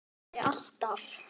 Brostir alltaf.